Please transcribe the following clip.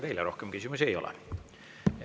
Teile rohkem küsimusi ei ole.